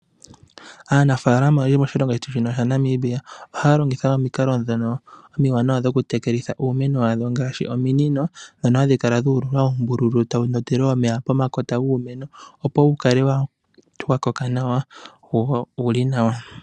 Aanafaalama oyendji moshilongo shetu shino shaNamibia ohaya longitha omikalo ndhono omiwanawa dhokutekelitha iimeno yawo ngaashi ominino ndhono hadhi kala dha ululwa uumbululu tawu ndondele omeya pomakota guumeno opo wu kale wa koka nawa wo owu li nawa.